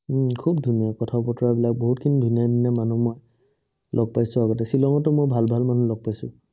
উম খুব ধুনীয়া কথা-বতৰাবিলাক, বহুতখিনি ধুনীয়া ধুনীয়া মানুহ মই লগ পাইছো আগতে, শ্বিলঙতো মই ভাল ভাল মানুহ লগ পাইছো।